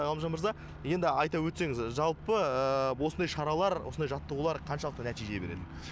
ғалымжан мырза енді айта өтсеңіз жалпы осындай шаралар осындай жаттығулар қаншалықты нәтижелер береді